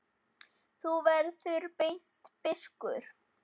Þú verður seint biskup!